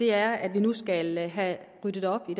er at vi nu skal have ryddet op i